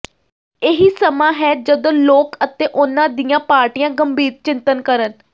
ਇਹੀ ਸਮਾਂ ਹੈ ਜਦੋਂ ਲੋਕ ਅਤੇ ਉਹਨਾਂ ਦੀਆਂ ਪਾਰਟੀਆਂ ਗੰਭੀਰ ਚਿੰਤਨ ਕਰਨ